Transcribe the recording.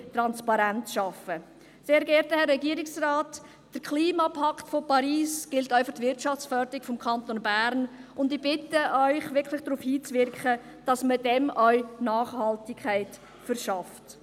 Sehr geehrter Herr Regierungsrat, der Klimapakt von Paris gilt auch für die Wirtschaftsförderung des Kantons Bern, und ich bitte Sie, wirklich darauf hinzuwirken, dass man dem auch Nachhaltigkeit verschafft.